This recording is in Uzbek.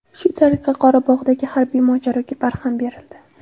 Shu tariqa Qorabog‘dagi harbiy mojaroga barham berildi.